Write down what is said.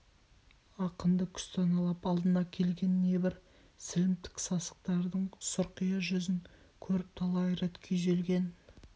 ақынды күстаналап алдына келген небір сілімтік сасықтардың сұрқия жүзін көріп талай рет күйзелген